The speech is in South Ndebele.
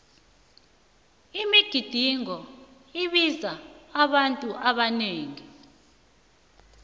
imigidingo ibiza abantu abanengi